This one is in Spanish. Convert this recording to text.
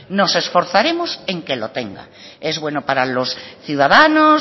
nos esforzaremos en que lo tenga es bueno para los ciudadanos